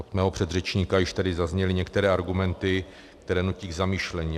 Od mého předřečníka již tady zazněly některé argumenty, které nutí k zamyšlení.